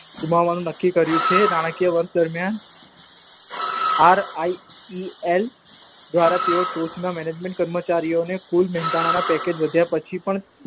ગુમાવાનું નક્કી કર્યું છે. નાણાકીય વર્ષ દરમિયાન આર આઇપીએલ દ્વારા તેઓ ટોચના Management કર્મચારીઓને કુલ મેહતાના પેકેજ વધ્યા પછી પણ